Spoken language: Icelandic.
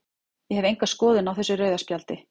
Ég hef enga skoðun á þessu rauða spjaldi.